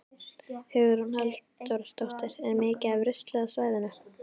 Hugrún Halldórsdóttir: Er mikið af rusli á svæðinu?